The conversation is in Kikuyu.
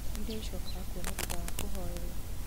iria icokaga kuona thutha wa kũhoerwo